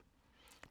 DR1